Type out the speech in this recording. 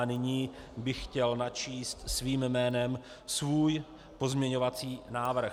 A nyní bych chtěl načíst svým jménem svůj pozměňovací návrh.